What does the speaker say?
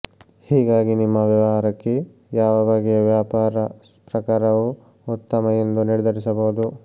ಹೀಗಾಗಿ ನಿಮ್ಮ ವ್ಯವಹಾರಕ್ಕೆ ಯಾವ ಬಗೆಯ ವ್ಯಾಪಾರ ಪ್ರಕಾರವು ಉತ್ತಮ ಎಂದು ನಿರ್ಧರಿಸಬಹುದು